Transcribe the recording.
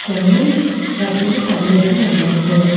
కొన్ని వస్తువులు తగిలేసి ఉన్నాయి గోడకి.